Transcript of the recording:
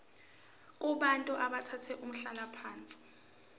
kubantu abathathe umhlalaphansi